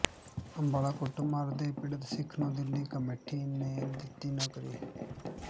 ਅੰਬਾਲਾ ਕੁੱਟਮਾਰ ਦੇ ਪੀੜਤ ਸਿੱਖ ਨੂੰ ਦਿੱਲੀ ਕਮੇਟੀ ਨੇ ਦਿੱਤੀ ਨੌਕਰੀ